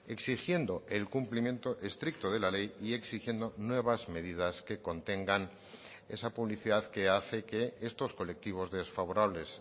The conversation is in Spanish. exigiendo el cumplimiento estricto de la ley y exigiendo nuevas medidas que contengan esa publicidad que hace que estos colectivos desfavorables